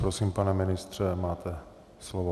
Prosím, pane ministře, máte slovo.